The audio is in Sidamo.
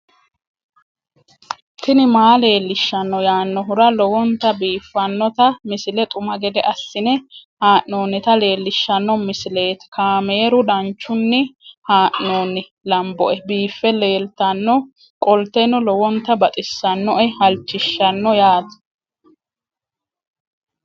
tini maa leelishshanno yaannohura lowonta biiffanota misile xuma gede assine haa'noonnita leellishshanno misileeti kaameru danchunni haa'noonni lamboe biiffe leeeltannoqolten lowonta baxissannoe halchishshanno yaate